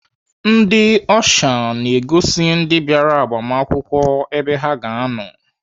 Ndị ọsha na-egosi ndị bịara agbamakwụkwọ ebe ha ga-anọ.